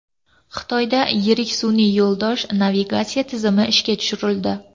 Xitoyda yirik sun’iy yo‘ldosh navigatsiya tizimi ishga tushirildi.